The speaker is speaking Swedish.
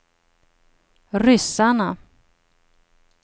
ryssarna